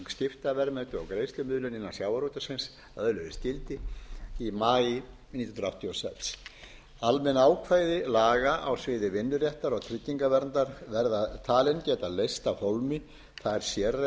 öðluðust gildi í maí nítján hundruð áttatíu og sex almenn ákvæði laga á sviði vinnuréttar og tryggingaverndar verða talin geta leyst af hólmi þær sérreglur sem lagt er til